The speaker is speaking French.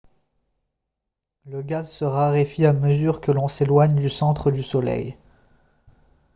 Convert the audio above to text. le gaz se raréfie à mesure que l'on s'éloigne du centre du soleil